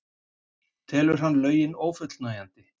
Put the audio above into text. Telur hann lögin ófullnægjandi